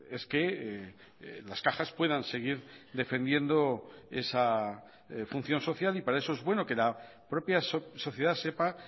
es que las cajas puedan seguir defendiendo esa función social y para eso es bueno que la propia sociedad sepa